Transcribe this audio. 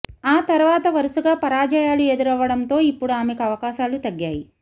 ఆ తర్వాత వరుసగా పరాజయాలు ఎదురవ్వడంతో ఇప్పుడు ఆమెకు అవకాశాలు తగ్గాయి